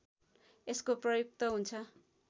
यसको प्रयुक्त हुन्छ